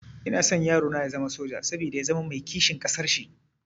Ina son yarona ya zama soja, saboda ya zama mai kishin ƙasar shi